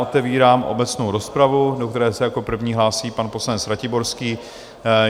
Otevírám obecnou rozpravu, do které se jako první hlásí pan poslanec Ratiborský.